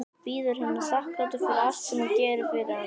Bíður hennar þakklátur fyrir allt sem hún gerir fyrir hann.